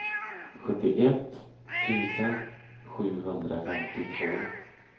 sjuttioett tusen sjuhundrafemtiotvå